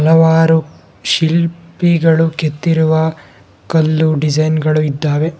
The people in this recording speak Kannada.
ಹಲವಾರು ಶಿಲ್ಪಿಗಳು ಕೆತ್ತಿರುವ ಕಲ್ಲು ಡಿಸೈನ್ ಗಳು ಇದ್ದಾವೆ.